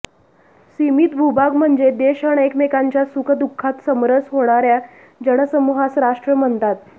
सीमीत भूभाग म्हणजे देश अन् एकमेकांच्या सुखदुःखात समरस होणार्या जनसमूहास राष्ट्र म्हणतात